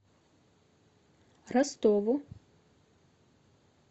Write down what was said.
ростову